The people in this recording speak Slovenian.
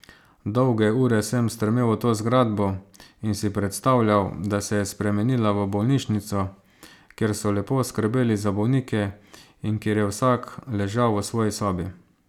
Dolge ure sem strmel v to zgradbo in si predstavljal, da se je spremenila v bolnišnico, kjer so lepo skrbeli za bolnike in kjer je vsak ležal v svoji sobi.